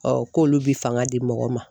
k'olu bi fanga di mɔgɔ ma.